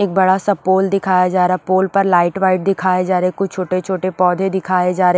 एक बड़ा सा पोल दिखाया जा रहा है पोल पर लाइट वाइट दिखाए जा रहे कुछ छोटे-छोटे पौधे दिखाए जा र--